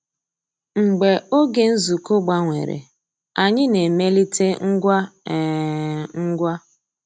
Mgbeé ògé nzukọ́ gbànwèrè, ànyị́ ná-èmélìté ngwá um ngwá.